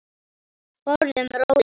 Borðum rólega.